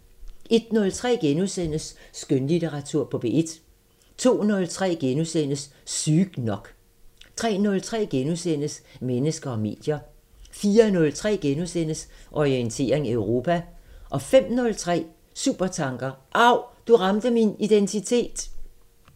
01:03: Skønlitteratur på P1 * 02:03: Sygt nok * 03:03: Mennesker og medier * 04:03: Orientering Europa * 05:03: Supertanker: Av, du ramte min identitet!